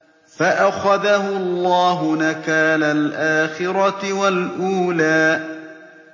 فَأَخَذَهُ اللَّهُ نَكَالَ الْآخِرَةِ وَالْأُولَىٰ